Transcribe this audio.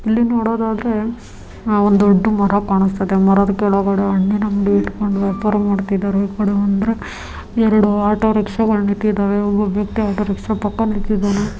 ಇಲ್ಲಿ ನೋಡೋದಾದ್ರೆ ಆಹ್ ಒಂದು ದೊಡ್ಡ ಮರ ಕಾಣಿಸ್ತಾ ಇದೆ ಮರದ ಕೆಳಗಡೆ ಹಣ್ಣಿನ್ ಅಂಗಡಿ ಇಟ್ಟ್ಕೊಂಡ್ ವ್ಯಾಪಾರ ಮಾಡ್ತಾ ಇದ್ದಾರೆ ಈಕಡೆ ಬಂದ್ರೆ ಎರಡ್ ಆಟೋ ರಿಕ್ಷಾಗಳು ನಿತ್ತಿದ್ದವೆ ಒಬ್ಬ ವ್ಯಕ್ತಿ ಆಟೋ ರಿಕ್ಷಾ ಪಕ್ಕ ನಿತ್ತಿದ್ದಾನೆ.